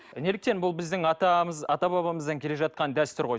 неліктен бұл біздің атамыз ата бабамыздан келе жатқан дәстүр ғой